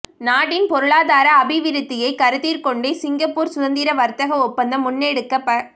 நாட்டின் பொருளாதார அபிவிருத்தியை கருத்திற்கொண்டே சிங்கப்பூர் சுதந்திர வர்த்தக ஒப்பந்தம் முன்னெடுக்கப